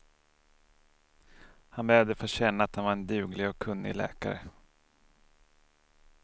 Han behövde få känna att han var en duglig och kunnig läkare.